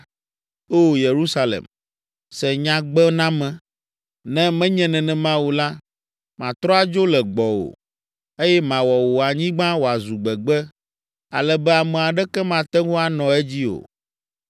Oo, Yerusalem, se nyagbename, ne menye nenema o la, matrɔ adzo le gbɔwò, eye mawɔ wò anyigba wòazu gbegbe, ale be ame aɖeke mate ŋu anɔ edzi o.”